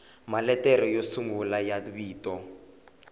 maletere yo sungula ya vito